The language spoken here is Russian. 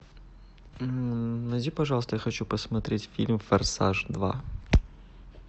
найди пожалуйста я хочу посмотреть фильм форсаж два